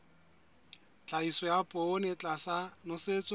tlhahiso ya poone tlasa nosetso